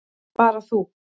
Bara þú.